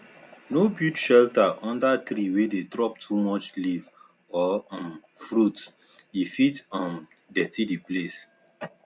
no build shelter under tree wey dey drop too much leaf or um fruit e fit um dirty the place